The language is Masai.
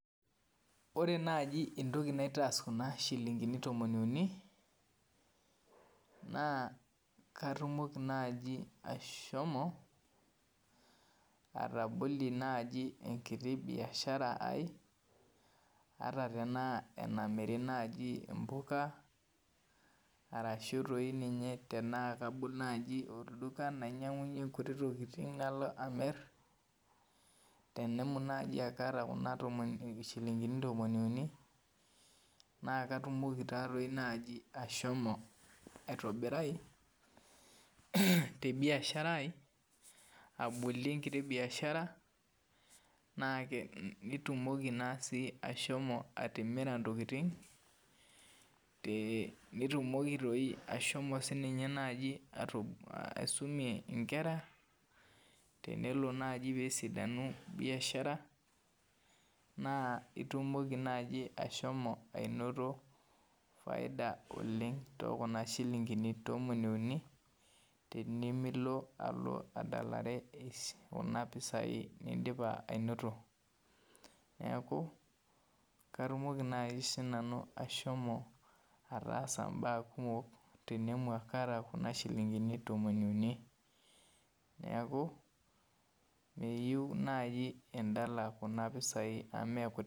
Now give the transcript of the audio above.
Ore najibentoki naitaasa kuna shilingini tomon uni na katumoki nai ashomo atobloie nai enkiti biashara aai ataa nye tanaa enamiri mpuka ashu nai tanaa kabol olduka nainyangunyie nkuti tokitin nalo amir tenemut nai aakaata kuna shilingini tomon uni na katumoki nai ashomo aitobirai te biashara aai abolir enkiti biashara nitumoki ashomo atimira ntokitin, nitumoki nai ashomo naibaisumie nkera tenelo nai nesidanu biashara naitumoki nai ashomo ainoto faida oleng tekuna shillingini tomoni uni tenimilo alo adalare kuna pisaii naidipa ainoto neaku katumoki nai sinanu ashomo ataassa mbaa kumok tenemut akaata kuna shilingini tomon uni neaku meyieu nai endala kuna pisai amu mekutik.